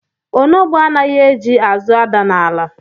Onogbo anaghị eji azụ ada n'ala